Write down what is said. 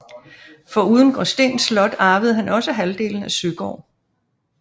Foruden Gråsten Slot arvede han også halvdelen af Søgård